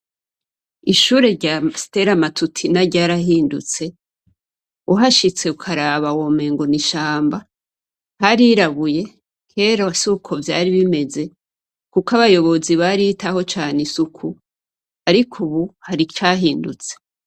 Ishure rya Stella Matutina ryarahindutse. Uhashitse ukaraba womengo n'ishamba. Harirabuye, kera suko vyari bimeze kuko abayobozi baritaho cane isuku. Ariko ubu hari icahindutse.